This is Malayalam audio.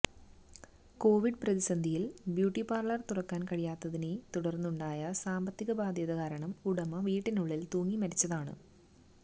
കോവിഡ് പ്രതിസന്ധിയിൽ ബ്യൂട്ടി പാർലർ തുറക്കാൻ കഴിയാത്തതിനെ തുടർന്നുണ്ടായ സാമ്പത്തികബാധ്യത കാരണം ഉടമ വീട്ടിനുള്ളിൽ തൂങ്ങിമരിച്ചതാണ്